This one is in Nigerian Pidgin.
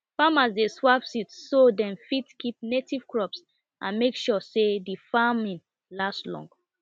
farmers dey swap seeds so dem fit keep native crops and make sure say d farming last long